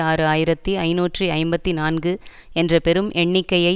ஆறு ஆயிரத்தி ஐநூற்று ஐம்பத்தி நான்கு என்ற பெரும் எண்ணிக்கையை